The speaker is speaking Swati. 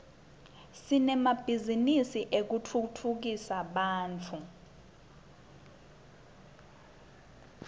sinemabhizinisi etekutfutsa bantfu